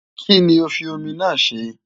Kí ni o fi omi náà ṣe?